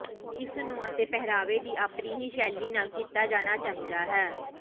ਇਸ ਨੂੰ ਅਤੇ ਪਹਿਰਾਵੇ ਦੇ ਆਪਣੇ ਹੀ ਸ਼ੈਲੀ ਨਾਲ ਕੀਤਾ ਜਾਣਾ ਚਾਹੀਦਾ ਹੈ